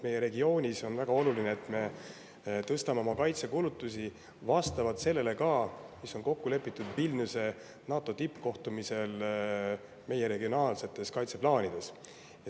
Meie regioonis on väga oluline, et me tõstame oma kaitsekulutusi ka vastavalt sellele, milles Vilniuse NATO tippkohtumisel meie regionaalsete kaitseplaanide jaoks kokku lepiti.